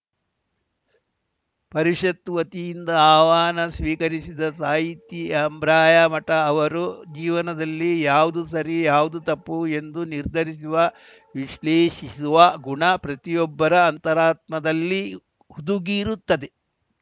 ಪರಿಷತ್ತು ವತಿಯಿಂದ ಆಹ್ವಾನ ಸ್ವೀಕರಿಸಿದ ಸಾಹಿತಿ ಆಬ್ರಾಯಮಠ ಅವರು ಜೀವನದಲ್ಲಿ ಯಾವುದು ಸರಿ ಯಾವುದು ತಪ್ಪು ಎಂದು ನಿರ್ಧರಿಸುವ ವಿಶ್ಲೇಷಿಸುವ ಗುಣ ಪ್ರತಿಯೊಬ್ಬರ ಅಂತರಾತ್ಮದಲ್ಲಿ ಹುದುಗಿರುತ್ತದೆ